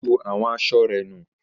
Olá ju àwọn aṣọ rẹ̀ nù.